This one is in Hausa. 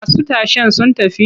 Masu tashen sun tafi?